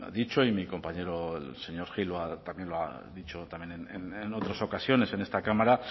dicho y mi compañero el señor gil también lo ha dicho en otras ocasiones en esta cámara